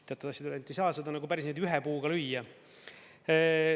Teatavasti ei saa seda päris ühe puuga lüüa.